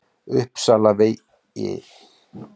Uppsalavegi